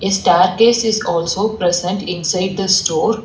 A case is also present inside the store.